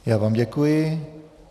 Já vám děkuji.